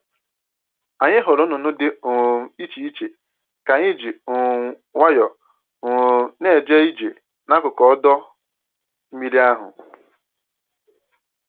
Anyị hụrụ nnụnụ dị um iche iche ka anyị ji um nwayọọ um na-eje ije n'akụkụ ọdọ mmiri ahụ